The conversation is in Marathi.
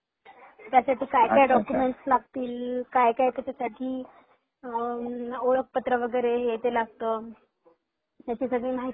त्याच्यासाठीअच्छा अच्छा काय काय डॉकुमेन्ट लागतील काय काय त्याच्यासाठी ओळखपत्र वैगेरे हे ते लागत त्याच्या साठी माहिती पाहिजे होती